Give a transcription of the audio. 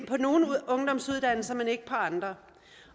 på nogle ungdomsuddannelser men ikke på andre